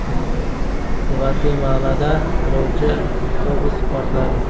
Gvatemalada yo‘lovchi avtobusi portladi.